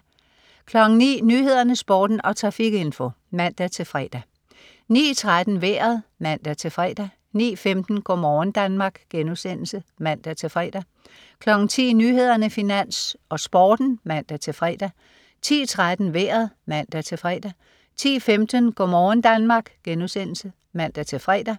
09.00 Nyhederne, Sporten og trafikinfo (man-fre) 09.13 Vejret (man-fre) 09.15 Go' morgen Danmark* (man-fre) 10.00 Nyhederne, Finans, Sporten (man-fre) 10.13 Vejret (man-fre) 10.15 Go' morgen Danmark* (man-fre)